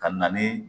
Ka na ni